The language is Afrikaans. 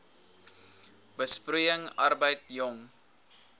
besproeiing arbeid jong